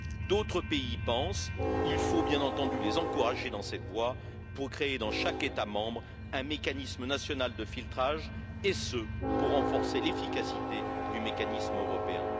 D'autres pays y pensent, il faut bien entendu les encourager dans cette voie pour créer, dans chaque État membre, un mécanisme national de filtrage, et ce pour renforcer l'efficacité du mécanisme européen.